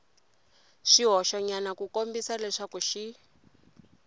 swihoxonyana ku kombisa leswaku xi